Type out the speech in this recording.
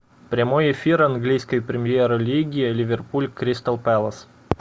прямой эфир английской премьер лиги ливерпуль кристал пэлас